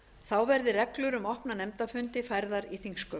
þá verði reglur um opna nefndafundi færðar í þingsköp